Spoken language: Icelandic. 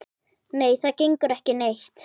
Nei, það gengur ekki neitt.